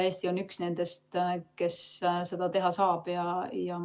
Eesti on üks nendest, kes seda teha saab.